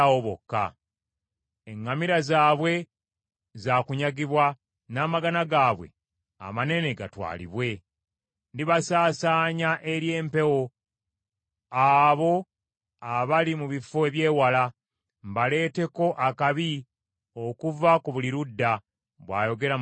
Eŋŋamira zaabwe zaakunyagibwa, n’amagana gaabwe amanene gatwalibwe. Ndibasaasaanya eri empewo, abo abali mu bifo eby’ewala, mbaleeteko akabi okuva ku buli ludda,” bw’ayogera Mukama Katonda.